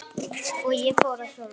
Og ég fór að hjóla.